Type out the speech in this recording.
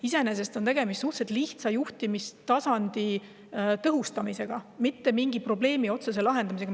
Iseenesest on tegemist suhteliselt lihtsa juhtimistasandi tõhustamisega, mitte mingi otsese probleemi lahendamisega.